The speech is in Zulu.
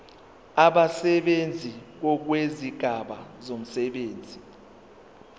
abasebenzi ngokwezigaba zomsebenzi